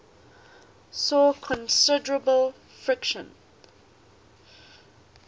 saw considerable friction